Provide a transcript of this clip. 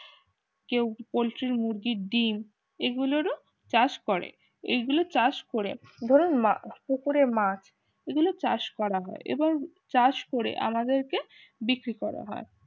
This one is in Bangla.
কেউ পোল্ট্রি মুরগির ডিম এগুলোরও চাষ করে এগুলো চাষ করে ধরুন মা পুকুরের মাছ এগুলো চাষ করা হয় এবং চাষ করে আমাদেরকে বিক্রি করা হয়